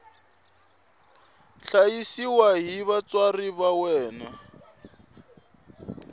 hlayisiwa hi vatswari va yena